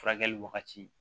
Furakɛli wagati